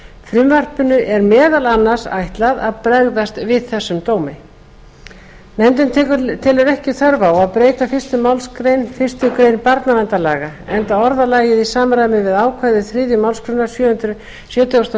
frumvarpinu er meðal annars ætlað að bregðast við þessum dómi nefndin telur ekki þörf á að breyta fyrstu málsgrein fyrstu grein barnaverndarlaga enda orðalagið í samræmi við ákvæði þriðju málsgrein sjötugustu og